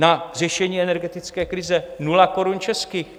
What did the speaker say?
Na řešení energetické krize 0 korun českých.